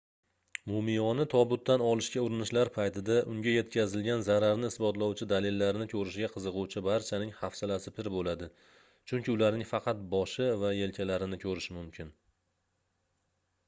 mumiyoni tobutdan olishga urinishlar paytida unga yetkazilgan zararni isbotlovchi dalillarni koʻrishga qiziquvchi barchaning hafsalasi pir boʻladi chunki ularning faqat boshi va yelkalarini koʻrish mumkin